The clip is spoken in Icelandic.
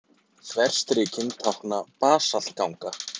Þverstrikin tákna basaltganga.